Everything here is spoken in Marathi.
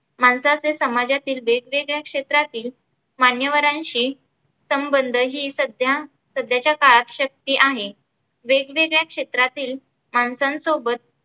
माणसाचे समाजातील वेगवेगळ्या क्षेत्रातील माण्यवरांशी संबंध ही सध्या सध्याच्या काळात शक्य आहे. वेगवेगळ्या क्षेत्रातील माणसांसोबत